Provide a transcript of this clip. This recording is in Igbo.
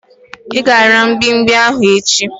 I ga-ara mgbimgbi ahu echi